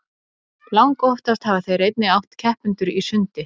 Langoftast hafa þeir einnig átt keppendur í sundi.